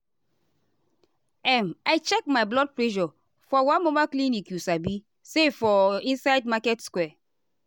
um i check my blood pressure for one mobile clinicyou sabi say for inside market square.